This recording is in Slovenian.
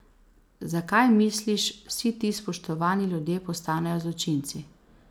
Zakaj, misliš, vsi ti spoštovani ljudje postanejo zločinci?